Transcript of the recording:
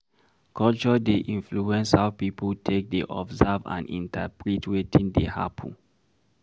Culture dey influence how pipo take dey observe and interprete wetin dey happen